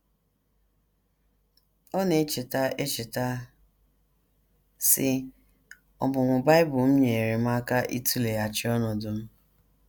Ọ na - echeta echeta, sị: “ Ọmụmụ Bible m nyeere m aka ịtụleghachi ọnọdụ m.